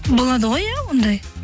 болады ғой иә ондай